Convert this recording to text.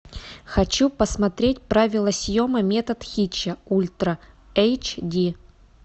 хочу посмотреть правила съема метод хитча ультра эйч ди